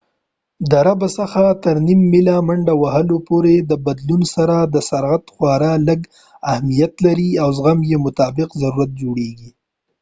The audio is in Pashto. د ربع څخه تر نیم ميله منډه وهلو پورې د بدلون سره سرعت خورا لږ اهمیت لري او زغم یو مطلق ضرورت جوړيږي